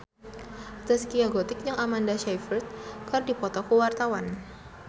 Zaskia Gotik jeung Amanda Sayfried keur dipoto ku wartawan